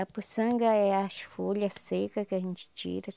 A puçanga é as folha seca que a gente tira.